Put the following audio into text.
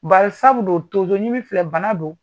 Barisabu dun tonzoɲimi filɛ bana do.